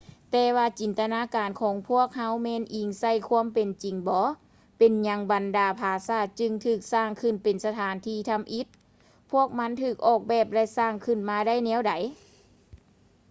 ແຕ່ວ່າຈິນຕະນາການຂອງເຮົາແມ່ນອີງໃສ່ຄວາມເປັນຈິງບໍ ເປັນຫຍັງບັນດາຜາສາດຈຶ່ງຖືກສ້າງຂຶ້ນເປັນສະຖານທີ່ທຳອິດ ພວກມັນຖືກອອກແບບ ແລະ ສ້າງຂຶ້ນມາໄດ້ແນວໃດ